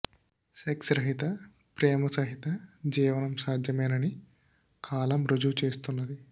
sex రహిత ప్రేమ సహిత జీవనం సాధ్యమేనని కాలం రుజువు చేస్తున్నది